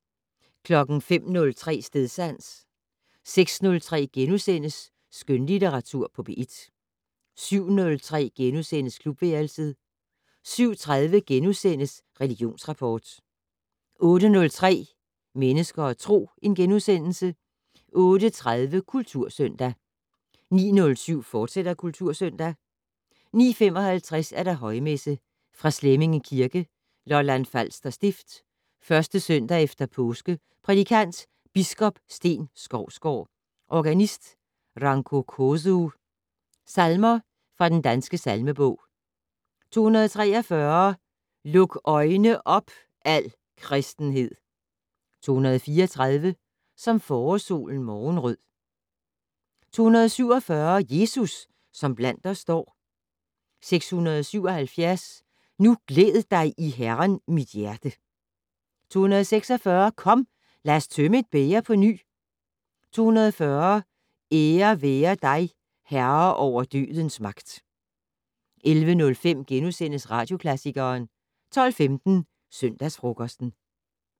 05:03: Stedsans 06:03: Skønlitteratur på P1 * 07:03: Klubværelset * 07:30: Religionsrapport * 08:03: Mennesker og Tro * 08:30: Kultursøndag 09:07: Kultursøndag, fortsat 09:55: Højmesse - Fra Slemminge Kirke, Lolland-Falster Stift. 1. søndag efter påske. Prædikant: Biskop Steen Skovsgaard. Organist: Ranko Kozuh. Salmer fra Den Danske Salmebog: 243 "Luk øjne op, al kristenhed!". 234 "Som forårssolen morgenrød". 247 "Jesus, som iblandt os står". 677 "Nu glæd dig i Herren, mit hjerte". 246 "Kom, lad os tømme et bæger på ny". 240 "Dig være ære, Herre over dødens magt!". 11:05: Radioklassikeren * 12:15: Søndagsfrokosten